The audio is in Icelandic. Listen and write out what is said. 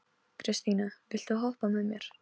Kristine, viltu hoppa með mér?